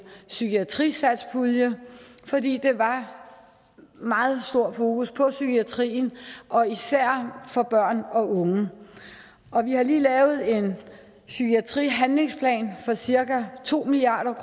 psykiatrisatspulje fordi der var meget stor fokus på psykiatrien og især for børn og unge og vi har lige lavet en psykiatrihandlingsplan for cirka to milliard